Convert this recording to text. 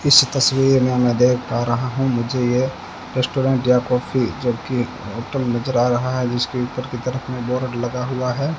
इस तस्वीर में मैं देख पा रहा हूं मुझे यह रेस्टोरेंट या कॉफ़ी जबकि होटल नज़र आ रहा है जिसके ऊपर के तरफ में बोर्ड लगा हुआ है।